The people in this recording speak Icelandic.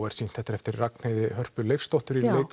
er sýnt þetta er eftir Ragnheiði Hörpu Leifsdóttur í